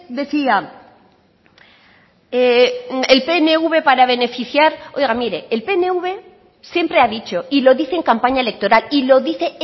decía el pnv para beneficiar oiga mire el pnv siempre ha dicho y lo dice en campaña electoral y lo dice